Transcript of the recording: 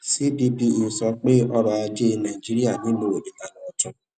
cppe sọ pé ọrọ ajé nàìjíríà ilana ọtun